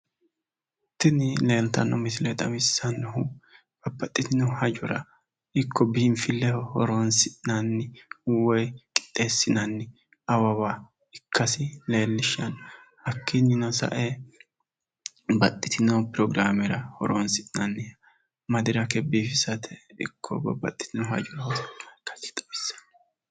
Tini leeltanno misile xawissannohu babbaxxitino hajora ikko biinfilleho horoonsi'nanni woyi qixxeessinanni awawa ikkasi leellishanno hakkiinnino sa'e baxxitino firograamera madirake biifisate ikko babbaxxitino hajora horoonsi'nanniha ikkasi xawissanno.